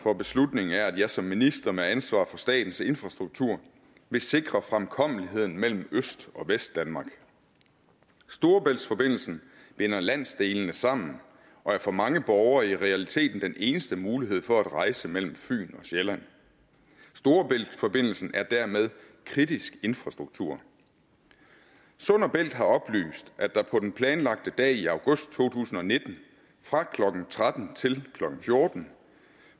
for beslutningen er at jeg som minister med ansvar for statens infrastruktur vil sikre fremkommeligheden mellem øst og vestdanmark storebæltsforbindelsen binder landsdelene sammen og er for mange borgere i realiteten den eneste mulighed for at rejse mellem fyn og sjælland storebæltsforbindelsen er dermed kritisk infrastruktur sund bælt har oplyst at der på den planlagte dag i august to tusind og nitten fra klokken tretten til klokken fjorten